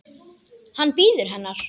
Hann bíður hennar.